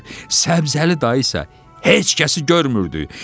Səbzəli dayı isə heç kəsi görmürdü.